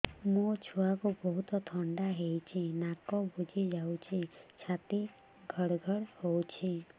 ମୋ ଛୁଆକୁ ବହୁତ ଥଣ୍ଡା ହେଇଚି ନାକ ବୁଜି ଯାଉଛି ଛାତି ଘଡ ଘଡ ହଉଚି